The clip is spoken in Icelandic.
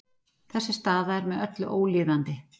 Þessi staða er með öllu ólíðandi